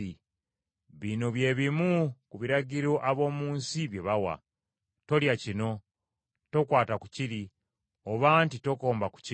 Bino bye bimu ku biragiro ab’omu nsi bye bawa: Tolya kino, tokwata ku kiri oba nti tokomba ku kino.